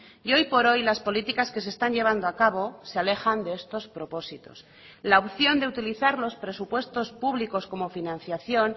y hoy por hoy las políticas que se están llevando a cabo se alejan de estos propósitos la opción de utilizar los presupuestos públicos como financiación